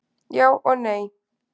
Já og nei.